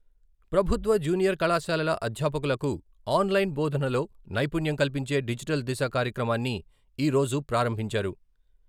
ప్రభుత్వ జూనియర్ కళాశాలల అధ్యాపకులకు ఆన్లైన్ బోధనలో నైపుణ్యం కల్పించే డిజిటల్ దిశ కార్యక్రమాన్ని ఈ రోజు ప్రారంభించారు.